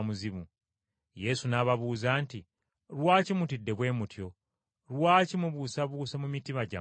Yesu n’ababuuza nti, “Lwaki mutidde bwe mutyo? Lwaki mubuusabuusa mu mitima gyammwe?